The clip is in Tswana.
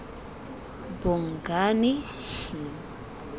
bongane